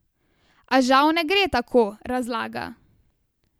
A žal ne gre tako, razlaga.